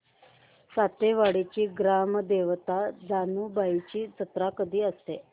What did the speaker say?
सातेवाडीची ग्राम देवता जानुबाईची जत्रा कधी असते